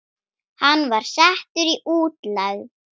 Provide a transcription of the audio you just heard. Hann var settur í útlegð.